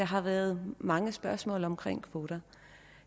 har været mange spørgsmål om kvoter